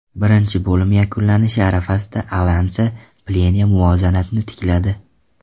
Birinchi bo‘lim yakunlanishi arafasida Alasan Plea muvozanatni tikladi.